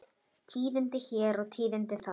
Tíðindi hér og tíðindi þar.